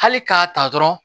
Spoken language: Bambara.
Hali k'a ta dɔrɔn